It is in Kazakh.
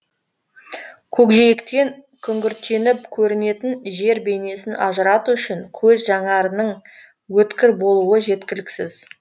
көкжиектен күңгірттеніп көрінетін жер бейнесін ажырату үшін көз жанарының өткір болуы жеткіліксіз